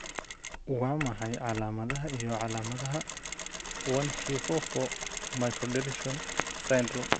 Waa maxay calaamadaha iyo calaamadaha 1q44 microdeletion syndrome?